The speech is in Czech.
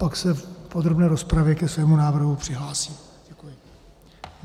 Pak se v podrobné rozpravě ke svému návrhu přihlásím.